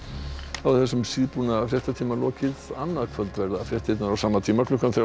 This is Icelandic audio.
þá er þessum síðbúna fréttatíma lokið annað kvöld verða fréttirnar á sama tíma klukkan